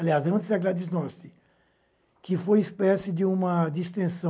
Aliás, antes da Gladis Nosti, que foi uma espécie de distensão.